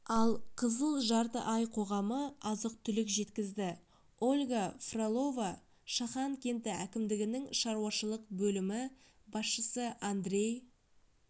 ал қызыл жарты ай қоғамы азық-түлік жеткізді ольга фролова шахан кенті әкімдігінің шаруашылық бөлімі басшысы андрей